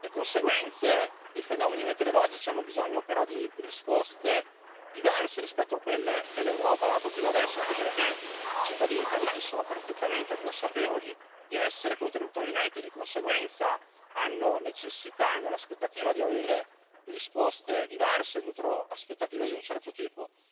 Le conseguenze dei fenomeni meteorologici hanno bisogno però di risposte diverse rispetto a quelle che l'Europa ha dato fino adesso, anche perché i cittadini italiani sono perfettamente consapevoli di essere contributori netti e, di conseguenza, hanno necessità e hanno l'aspettativa di avere risposte diverse e nutrono aspettative di un certo tipo.